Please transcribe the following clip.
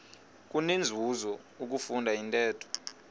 kunenzuzo ukufunda intetho